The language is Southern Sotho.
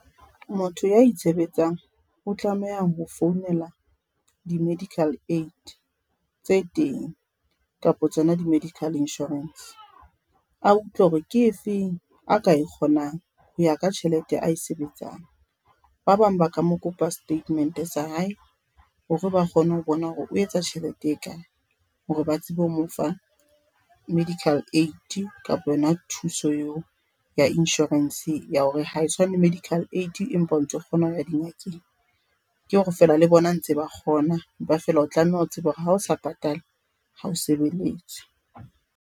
Motho ya itshebetsang o tlameha ho founela di-medical aid tse teng kapa tsona di-medical insurance. A utlwe hore ke efeng a ka e kgonang. Ho ya ka tjhelete a e sebetsang. Ba bang ba ka mo kopa statement sa hae, hore ba kgone ho bona hore o etsa tjhelete e kae hore ba tsebe ho mo fa medical aid kapa yona thuso eo ya insurance ya hore, ha e tshwane le medical aid empa o ntso kgona ho ya di ngakeng. Ke hore feela le bona ntse ba kgona empa feela o tlameha ho tseba hore ha o sa patale ho o sebeletswe.